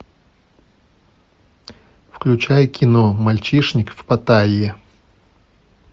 включай кино мальчишник в паттайе